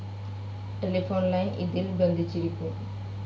Telephone line ഇതിൽ ബന്ധിച്ചിരിക്കും.